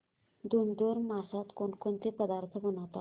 धुंधुर मासात कोणकोणते पदार्थ बनवतात